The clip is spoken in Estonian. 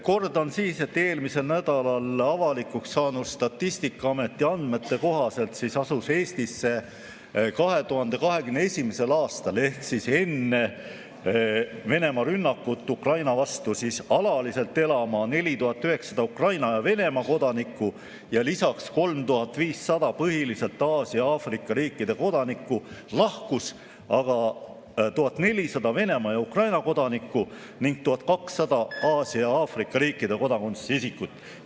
Kordan, et eelmisel nädalal avalikuks saanud Statistikaameti andmete kohaselt asus Eestisse 2021. aastal ehk enne Venemaa rünnakut Ukraina vastu alaliselt elama 4900 Ukraina ja Venemaa kodanikku ja lisaks 3500 põhiliselt Aasia ja Aafrika riikide kodanikku, lahkus aga 1400 Venemaa ja Ukraina kodanikku ning 1200 Aasia ja Aafrika riikide kodakondsusega isikut.